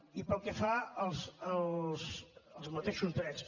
i pel que fa als mateixos drets